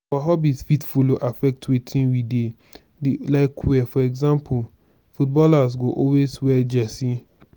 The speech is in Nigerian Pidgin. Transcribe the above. our hobbies fit follow affect wetin we dey dey like wear for example footballer go always wear jersey